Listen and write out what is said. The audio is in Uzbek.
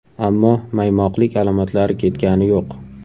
Ammo maymoqlik alomatlari ketgani yo‘q.